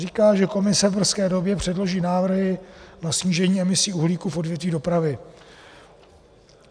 Říká, že Komise v brzké době předloží návrhy na snížení emisí uhlíku v odvětví dopravy.